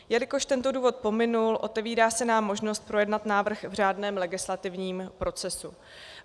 Jelikož tento důvod pominul, otevírá se nám možnost projednat návrh v řádném legislativním procesu.